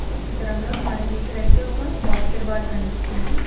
ఈ చిత్రంలో మనకి ఇక్కడైతే ఒక బాస్కెట్బాల్ కనిపిస్తుంది.